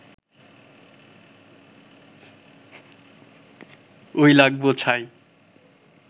ওই লাগবো ছাই